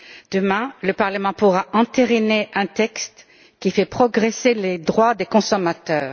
Demain, le Parlement pourra entériner un texte qui fait progresser les droits des consommateurs.